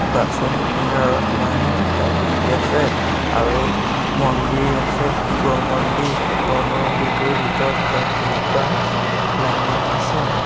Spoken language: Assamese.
বাছৰ কিনাৰত মানুহ দুটা বহি আছে আৰু মন্দিৰ আছে শিৱ মন্দিৰ শিৱ মন্দিৰটোৰ ভিতৰত গছ এজোপা লাগি আছে।